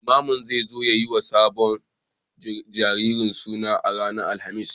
Limamin zai zo ya yi wa sabon jariri suna ranar Alhamis.